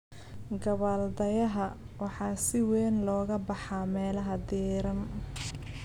Gabbaldayaha: waxaa si weyn looga baxaa meelaha diiran.